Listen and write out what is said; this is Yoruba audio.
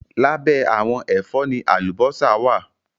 Lábẹ́ àwọn ẹ̀fọ́ ni àlùbọ́sà wá à.